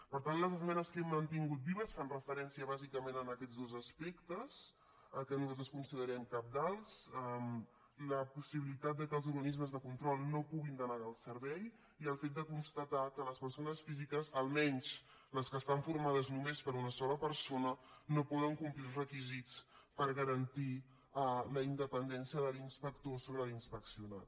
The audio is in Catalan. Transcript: per tant les esmenes que hem mantingut vives fan referència bàsicament a aquests dos aspectes que nosaltres considerem cabdals la possibilitat que els organismes de control no puguin denegar el servei i el fet de constatar que les persones físiques almenys les que estan formades només per una sola persona no poden complir els requisits per garantir la independència de l’inspector sobre l’inspeccionat